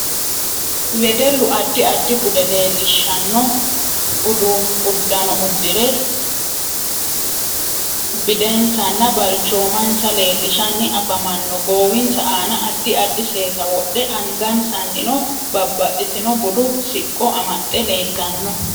Wedellu addi addi bude leelishannno uddanno uddire bidensanna balchoomansa leelishanni afamanno goowinsa aana addi addi seesa wodhe angasaniinno baabbaxitino budu siqqo amaxe leelanno